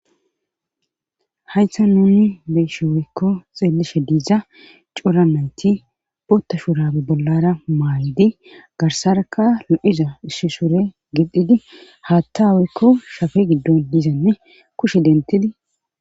Hay sta nuni beyshe worykko xeelishe diiza cora nayti bootta shurabe bollara maayidi garsaraka lu7iza isshisure gidhidi haatta wurikko shafe giddon dizanne kushe dentidi